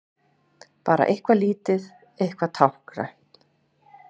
Bara eitthvað lítið, eitthvað táknrænt.